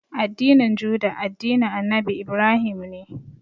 Addinin Juda, addinin Annabi Ibrahim ne.